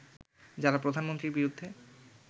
যারা প্রধানমন্ত্রীর বিরুদ্ধে